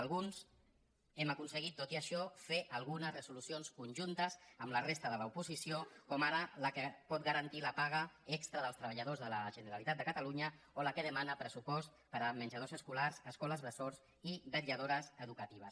alguns hem aconse·guit tot i això fer algunes resolucions conjuntes amb la resta de l’oposició com ara la que pot garantir la pa·ga extra dels treballadors de la generalitat de catalu·nya o la que demana pressupost per a menjadors esco·lars escoles bressol i vetlladores educatives